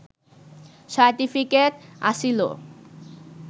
certificate আছিলো